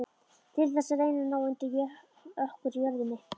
Til þess að reyna að ná undir okkur jörðinni?